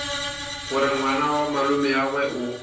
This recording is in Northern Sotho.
gore ngwana wa malomeagwe o